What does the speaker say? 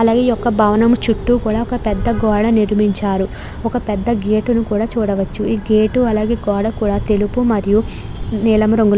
అలాగే ఈ యొక్క భవనం చుట్టూ కూడా ఒక పెద్ద గోడ నిర్మించారు ఒక పెద్ధ గేట్ ని కూడ చూడవచ్చు. ఈ గేట్ అలాగే గోడ కూడా తెలుపు మరియు నీలం రంగులో --